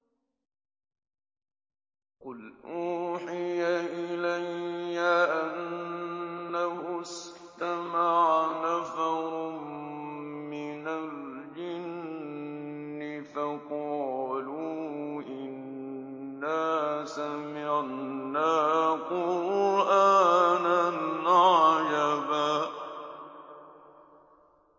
قُلْ أُوحِيَ إِلَيَّ أَنَّهُ اسْتَمَعَ نَفَرٌ مِّنَ الْجِنِّ فَقَالُوا إِنَّا سَمِعْنَا قُرْآنًا عَجَبًا